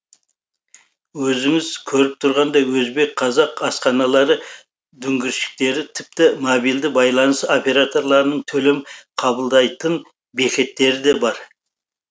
өздеріңіз көріп тұрғандай өзбек қазақ асханалары дүңгіршектері тіпті мобильді байланыс операторларының төлем қабылдайтын бекеттері де бар